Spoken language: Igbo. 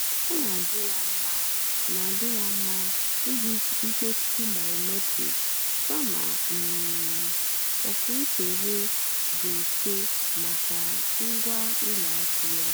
ọ́ nà-àdì́ yá mmá nà-àdì́ yá mmá ìjì mkpọ́chì bìómétric kàmà um ókwúntụ̀ghé dì mmfè màkà ngwá ùlọ àkụ́ yá.